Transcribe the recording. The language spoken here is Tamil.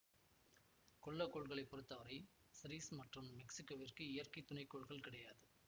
குள்ள கோள்களை பொருத்தவரை சிரிஸ் மற்றும் மெக்சிக்கெவிற்கு இயற்கை துணைகோள்கள் கிடையாது